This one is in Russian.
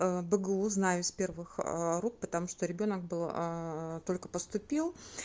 бгу знаю из первых рук потому что ребёнок был только поступил